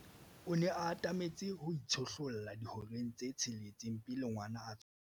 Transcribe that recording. o ne a atametse ho itshihlolla dihoreng tse tsheletseng pele ngwana a tswalwa